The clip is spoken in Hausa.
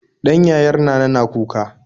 Ɗan yayar nana na kuka